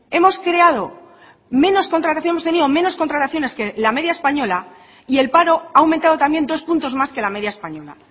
hemos creado menos contratación hemos tenido menos contrataciones que la media española y el paro ha aumentado también dos puntos más que la media española